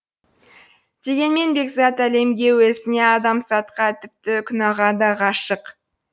дегенмен бекзат әлемге өзіне адамзатқа тіпті күнәға да ғашық